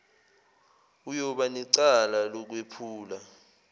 uyoba necala lokwephula